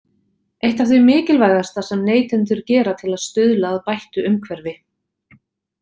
Eitt af því mikilvægasta sem neytendur gera til að stuðla að bættu umhverfi.